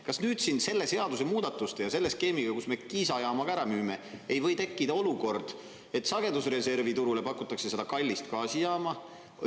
Kas nüüd siin selle seaduse muudatuste ja selle skeemiga, kus me Kiisa jaama ka ära müüme, ei või tekkida olukord, et sagedusreservi turule pakutakse seda kallist gaasijaama?